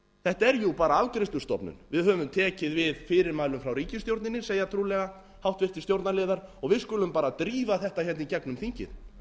þetta er jú bara afgreiðslustofnun við höfum tekið við fyrirmælum frá ríkisstjórninni segja trúlega háttvirtur stjórnarliðar og við skulum bara drífa þetta hérna í gegnum þingið